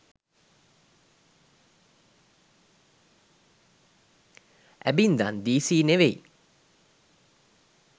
ඇබින්දන් දීසි නෙවෙයි